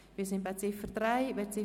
Wir sind bei der Ziffer 3 angelangt.